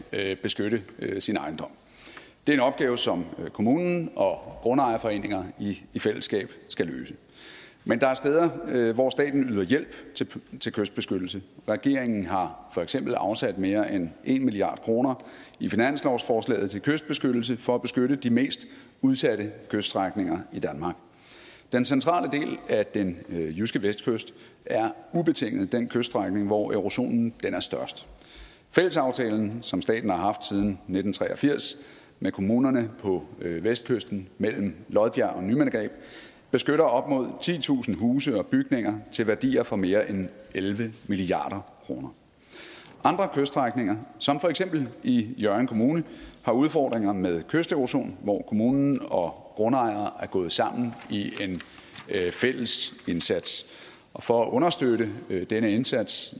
at beskytte sin ejendom det er en opgave som kommunen og grundejerforeningerne i fællesskab skal løse men der er steder hvor staten yder hjælp til kystbeskyttelse regeringen har for eksempel afsat mere end en milliard kroner i finanslovsforslaget til kystbeskyttelse for at beskytte de mest udsatte kyststrækninger i danmark den centrale del af den jyske vestkyst er ubetinget den kyststrækning hvor erosionen er størst fællesaftalen som staten har haft siden nitten tre og firs med kommunerne på vestkysten mellem lodbjerg og nymindegab beskytter op mod titusind huse og bygninger til værdier for mere end elleve milliard kroner andre kyststrækninger som for eksempel i hjørring kommune har udfordringer med kysterosion hvor kommunen og grundejere er gået sammen i en fælles indsats og for at understøtte denne indsats